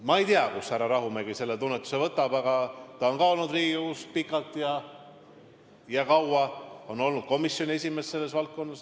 Ma ei tea, kust härra Rahumägi selle tunnetuse võtab, aga ka tema on olnud Riigikogus pikalt ja kaua, ta on olnud selle valdkonna komisjoni esimees.